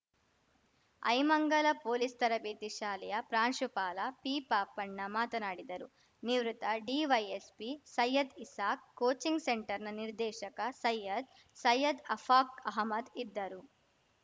Aimangala police ತರಬೇತಿ ಶಾಲೆಯ ಪ್ರಾಂಶುಪಾಲ ಪಿಪಾಪಣ್ಣ ಮಾತನಾಡಿದರು ನಿವೃತ್ತ ಡಿವೈಎಸ್ಪಿ ಸೈಯದ್‌ಇಸಾಕ್‌ ಕೋಚಿಂಗ್‌ ಸೆಂಟರ್‌ನ ನಿರ್ದೇಶಕ ಸೈಯದ್‌ ಸೈಯದ್‌ ಅಫಾಖ್‌ ಅಹಮದ್‌ ಇದ್ದರು